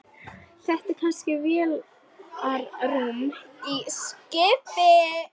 Er þetta kannski vélarrúm í skipi?